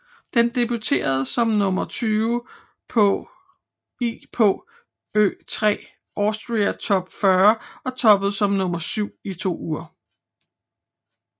Den debuterede som nummer 20 i på Ö3 Austria Top 40 og toppede som nummer 7 i to uger